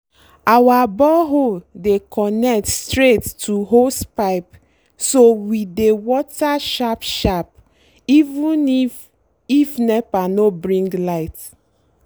our borehole dey connect straight to hosepipe so we dey water sharp-sharp even if if nepa no bring light.